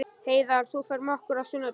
Heiðar, ferð þú með okkur á sunnudaginn?